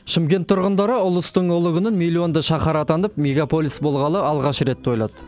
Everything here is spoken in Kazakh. шымкент тұрғындары ұлыстың ұлы күнін миллионды шаһар атанып мегаполис болғалы алғаш рет тойлады